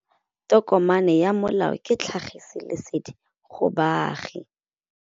Tokomane ya molao ke tlhagisi lesedi go baagi.